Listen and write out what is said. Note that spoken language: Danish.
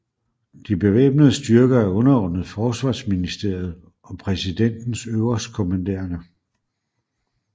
De bevæbnede styrker er underordnet forsvarsministeriet og præsidentens øverstkommanderende